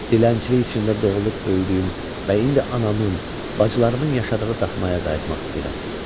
Dilənçilik içində doğulub böyüdüyüm və indi anamın, bacılarımın yaşadığı daxmaya qayıtmaq istəyirəm.